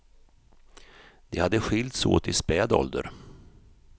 De hade skilts åt i späd ålder.